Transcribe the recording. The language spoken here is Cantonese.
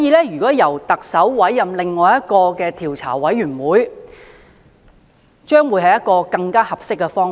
因此，由特首委任另一個調查委員會將會是更合適的方法。